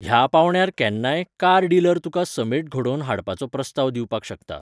ह्या पावंड्यार केन्नाय, कार डिलर तुका समेट घडोवन हाडपाचो प्रस्ताव दिवपाक शकता.